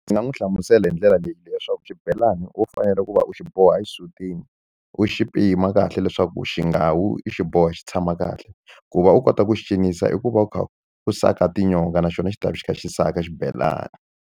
Ndzi nga n'wi hlamusela hi ndlela leyi leswaku xibelani ho fanele ku va u xi boha exisutini u xi pima kahle leswaku xi nga wi i xiboha xi tshama kahle ku va u kota ku xi cinisa i ku va u kha u saka tinyonga naxona xi ta va xi kha xi saka xibelani.